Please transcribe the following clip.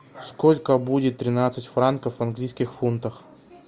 сколько будет тринадцать франков в английских фунтах